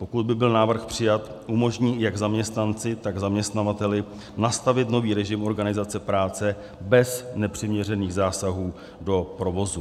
Pokud by byl návrh přijat, umožní jak zaměstnanci, tak zaměstnavateli nastavit nový režim organizace práce bez nepřiměřených zásahů do provozu.